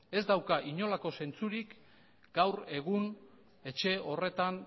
ez dauka inolako zentzurik gaur egun etxe horretan